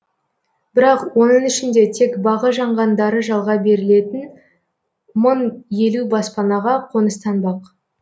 бірақ оның ішінде тек бағы жанғандары жалға берілетін мың елу баспанаға қоныстанбақ